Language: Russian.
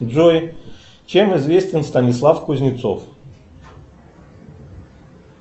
джой чем известен станислав кузнецов